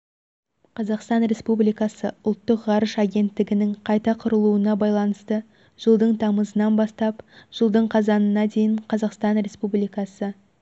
қазақстан республикасы ұлттық ғарыш агенттігінің қайта құрылуына байланысты жылдың тамызынан бастап жылдың қазанына дейін қазақстан республикасы